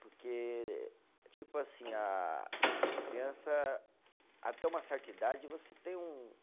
Porque, tipo assim, a criança, até uma certa idade, você tem um,